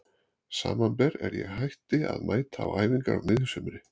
Samanber er ég hætti að mæta á æfingar á miðju sumri.